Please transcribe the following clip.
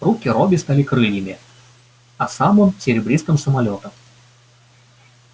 руки робби стали крыльями а сам он серебристым самолётом